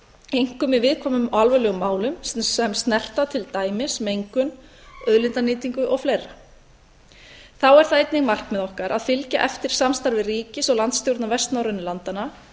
einkum í viðkvæmum og alvarlegum málum sem snerta til dæmis mengun auðlindanýtingu og fleira þá er það einnig markmið okkar að fylgja eftir samstarfi ríkis og landsstjórna vestnorrænu landanna